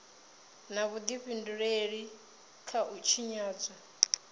na vhudifhinduleli kha u tshinyadzwa